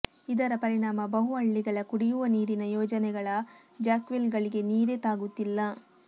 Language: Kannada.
ಇದರ ಪರಿಣಾಮ ಬಹುಹಳ್ಳಿಗಳ ಕುಡಿಯುವ ನೀರಿನ ಯೋಜನೆಗಳ ಜಾಕ್ವೆಲ್ಗಳಿಗೆ ನೀರೇ ತಾಗುತ್ತಿಲ್ಲ